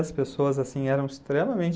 As pessoas assim, eram extremamente...